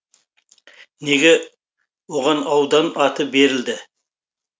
неге оған аудан аты берілді